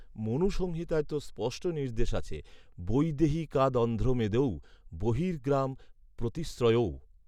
মনুসংহিতায় তো স্পষ্ট নির্দেশ আছে, বৈদেহিকাদন্ধ্রমেদৌ, বহির্গ্রাম, প্রতিশ্রয়ৌ